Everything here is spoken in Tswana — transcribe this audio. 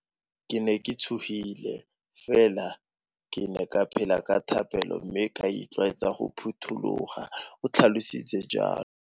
"Ke ne ke tshogile, fela ke ne ke phela ka thapelo mme ka itlwaetsa go phuthologa," o tlhalositse jalo.